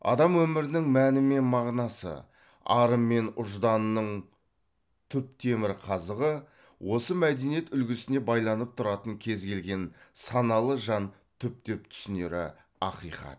адам өмірінің мәні мен мағынасы ары мен ұжданының түп темір қазығы осы мәдениет үлгісіне байланып тұратыны кез келген саналы жан түптеп түсінері ақиқат